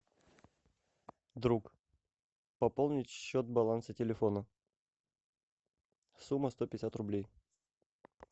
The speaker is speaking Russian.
друг пополнить счет баланса телефона сумма сто пятьдесят рублей